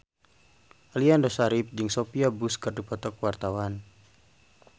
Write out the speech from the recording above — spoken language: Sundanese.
Aliando Syarif jeung Sophia Bush keur dipoto ku wartawan